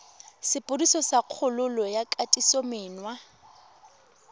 sepodisi sa kgololo ya kgatisomenwa